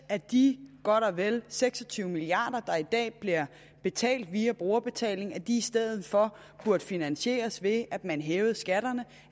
at de godt og vel seks og tyve milliard kr der i dag bliver betalt via brugerbetaling i stedet for burde finansieres ved at man hævede skatterne